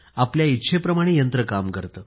आपल्या इच्छेप्रमाणे यंत्र काम करते